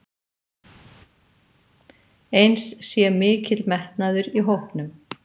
Eins sé mikill metnaður í hópnum